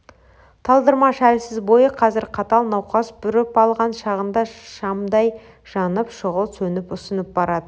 талдырмаш әлсіз бойы қазір қатал науқас бүріп алған шағында шамдай жанып шұғыл сөніп ұсынып барады